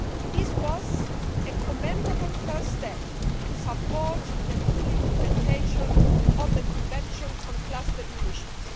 This was a commendable first step to support the full implementation of the Convention on Cluster Munitions.